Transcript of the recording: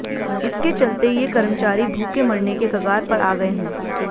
इसके चलते ये कर्मचारी भूखे मरने के कगार पर आ गए हैं